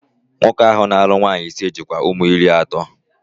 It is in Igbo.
Nwoke ahụ na-alụ nwaanyị ise, jikwa ụmụ iri atọ